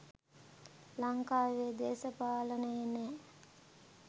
ලංකාවේ දේශපාලනේ නෑ